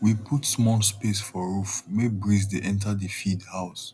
we put small space for roof make breeze de enter the feed house